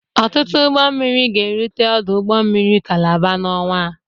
Ọtụtụ ụgbọ mmiri ga-erute ọdụ ụgbọ mmiri Kalaba n'ọnwa.